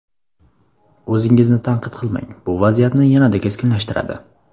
O‘zingizni tanqid qilmang, bu vaziyatni yanada keskinlashtiradi.